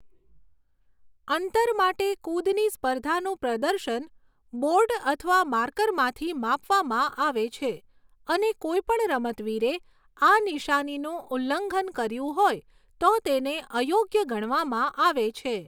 અંતર માટે કુદની સ્પર્ધાનું પ્રદર્શન બોર્ડ અથવા માર્કરમાંથી માપવામાં આવે છે અને કોઈપણ રમતવીરે આ નિશાનીનું ઉલ્લંઘન કર્યું હોય તો તેને અયોગ્ય ગણવામાં આવે છે.